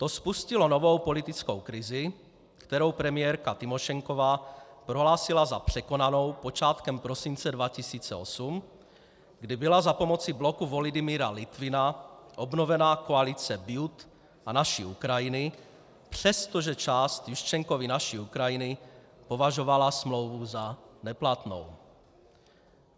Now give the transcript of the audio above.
To spustilo novou politickou krizi, kterou premiérka Tymošenková prohlásila za překonanou počátkem prosince 2008, kdy byla za pomoci bloku Volodymyra Lytvyna obnovena koalice BJuT a Naší Ukrajiny, přestože část Juščenkovy Naší Ukrajiny považovala smlouvu za neplatnou.